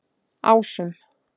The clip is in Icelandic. Ásum